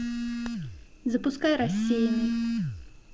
запускай рассеянный